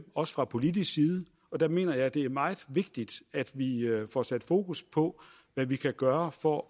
også fra politisk side og der mener jeg at det er meget vigtigt at vi får sat fokus på hvad vi kan gøre for